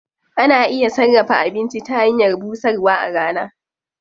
Ana iya sarrafa abinci ta hanyar busarwa a rana.